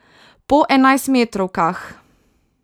Po enajstmetrovkah.